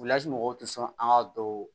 mɔgɔw tɛ sɔn an ka don